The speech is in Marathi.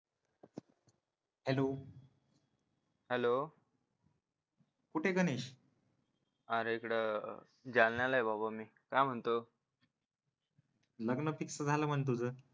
हॅलो हॅलो कुठे आहे गणेश अरे इकडे जालन्याला आहे बाबा मी काय म्हणतो लग्न फिक्स झालं म्हणे तुझं